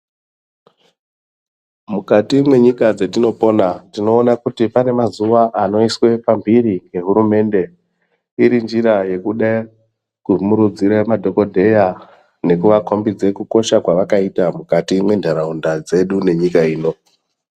Mukati mwenyika dzatinopona tinoona kuti pane mazuwa anoiswe pamhiri ngehurumende iri njira yekude kumurudzire madhokodheya nekuakombidza kukosha kwavakaita mukati mwentaraunda dzedu nenyika ino.